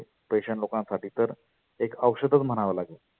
petiant लोकांसाठी तर एक औषदच म्हणावं लागेल.